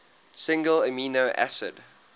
single amino acid